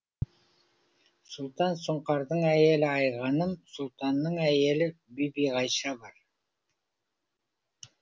сұлтан сұңқардың әйелі айғаным сұлтанның әйелі бибиғайша бар